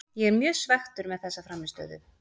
Ég er mjög svekktur með þessa frammistöðu.